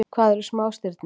Hvað eru smástirni?